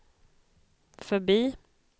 förbi